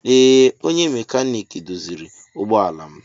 Ee onye mekaniki doziri ụgbọ ala m.